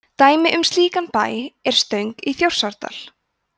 dæmi um slíkan bæ er stöng í þjórsárdal